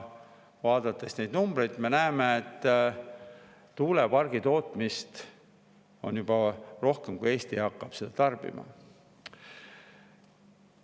Vaadates neid numbreid, me näeme, et tuulepargitootmist on juba rohkem, kui Eesti hakkab seda tarbima.